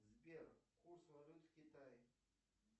сбер курс валют в китае